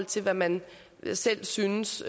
til hvad man selv synes